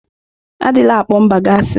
Adịla akpọ mba gị asị!